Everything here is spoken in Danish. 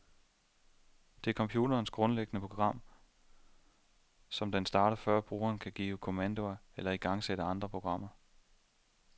Det er computerens grundlæggende program, som den starter før brugeren kan give kommandoer eller igangsætte andre programmer.